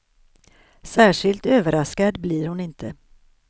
Särskilt överraskad blir hon inte.